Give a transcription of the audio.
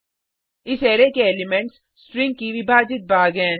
इस अरै के elements string की विभाजित भाग हैं